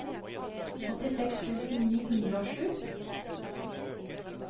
åttiseks tusen ni hundre og sju